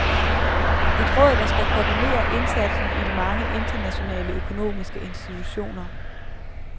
Et råd, der skal koordinere indsatsen i de mange internationale økonomiske institutioner.